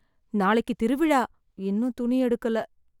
நாளைக்கு திருவிழா, இன்னும் துணி எடுக்கல.